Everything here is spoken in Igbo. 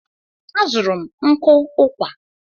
A zụrụ m nkụ ụkwà.